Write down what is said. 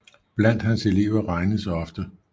Blandt hans elever regnes ofte P